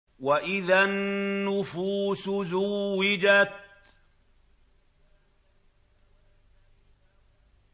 وَإِذَا النُّفُوسُ زُوِّجَتْ